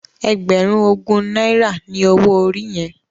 Ègbèrún ógún nàirá ni ôwó óri yèn?